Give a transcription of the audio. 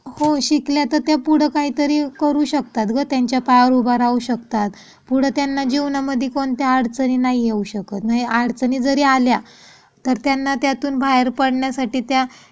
हो शिकल्या ता त्या करू शकतात व त्यांच्या पायावर उभा राहू शकतात पुढे त्यांना जीवनामध्ये कोणत्या अडचणी नाही येऊ शकत नाही अडचणी जरी आल्या तर त्यांना त्यातून बाहेर पडण्यासाठी त्या